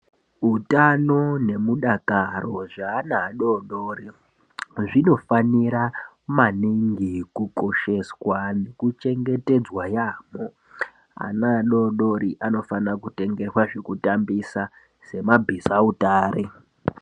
Utano nemudakaro zveana adoodori zvinofanira maningi kukosheswa nekuchengetedzwa yaamho. Ana adoodori anofanira kutengerwa zvekutambisa semabhizautare.